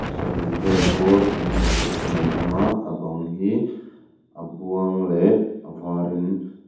sarih vel bawr kan hmuh theih chinah an awm a a bang hi a buang leh a var in an--